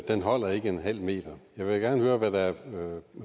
holder ikke en halv meter jeg vil gerne høre hvad